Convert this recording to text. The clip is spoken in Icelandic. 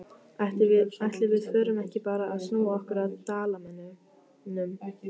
Ætli við förum ekki bara að snúa okkur að Dalamönnum?